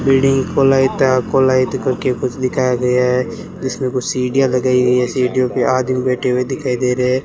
building कोलाइता कोलाइत करके कुछ दिखाया गया है जिसमें कुछ सीढ़ियां लगाई हुई हैं सीढ़ियों पे आदमी बैठे हुए दिखाई दे रहें --